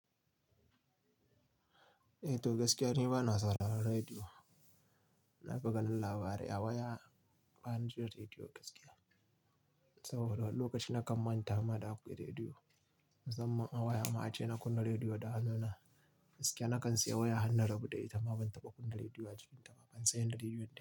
Eh to gaskiya ni bana sauraron rediyo. Na fi ganin labarai a waya ba ni jin rediyo gaskiya. Saboda lokaci na kan manta ma da akwai rediyo. Musamman a waya ma ace na kunna rediyo da hannuna. Gaskiya na kan siya waya har na rabu da ita ma ban taɓa kunna rediyo a cikinta ba, ban san yin rediyon da ita ba.